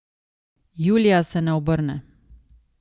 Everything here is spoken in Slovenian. Julija se ne obrne.